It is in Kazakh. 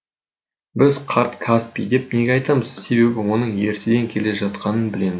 біз қарт каспий деп неге атаймыз себебі оның ертеден келе жатқанын білеміз